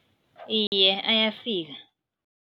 Iye, ayafika.